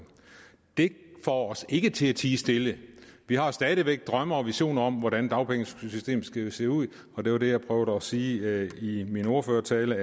det får os ikke til at tie stille vi har stadig væk drømme og visioner om hvordan dagpengesystemet skal se ud og det var det jeg prøvede at sige i min ordførertale